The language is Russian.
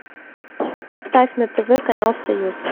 поставь на тв канал союз